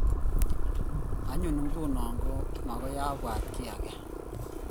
Anyun ng"uno ko magoi abwat kiy age